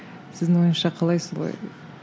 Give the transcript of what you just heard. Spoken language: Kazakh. сіздің ойыңызша қалай солай